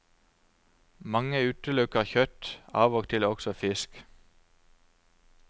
Mange utelukker kjøtt, av og til også fisk.